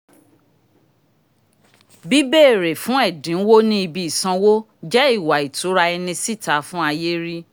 bìbéèrè fún ẹdinwo ni ibi isanwo jẹ ìwà itura ẹni síta fún ayé ríi